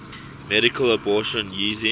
medical abortion using